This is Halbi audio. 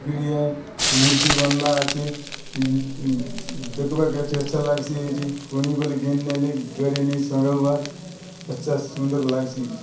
--आय मूर्ति बन ला आचे दखबा काजे अच्छा लाग सी आचे कोनी बले घेनी नेले घरे नेयी सोंगावात अच्छा सुंदर लागसी।